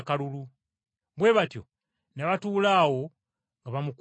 Bwe batyo ne batuula awo nga bamukuuma.